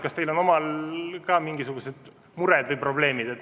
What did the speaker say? Kas teil on omal ka mingisugused mured või probleemid?